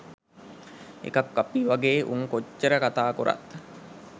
එකක් අපි වගේ උන් කොච්චර කතා කොරත්